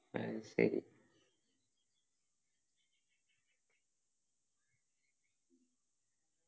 അത് ശരി